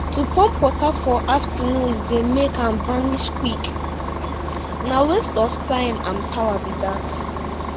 to pump water for afternoon dey make am vanish quick na waste of time and power be dat